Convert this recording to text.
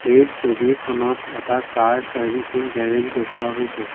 এই ছবিখনত এটা কাৰ চাৰ্ভিচিং গেৰেজ দেখুওৱা হৈছে।